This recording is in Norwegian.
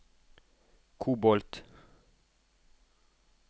kobolt